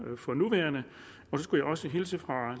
for nuværende jeg skal også hilse fra